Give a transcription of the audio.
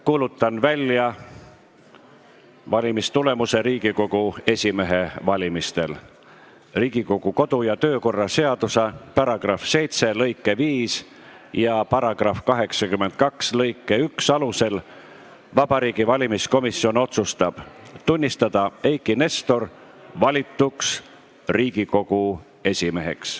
Kuulutan välja valimistulemuse Riigikogu esimehe valimisel: "Riigikogu kodu- ja töökorra seaduse § 7 lõike 5 ja § 82 lõike 1 alusel Vabariigi Valimiskomisjon otsustab tunnistada Eiki Nestor valituks Riigikogu esimeheks.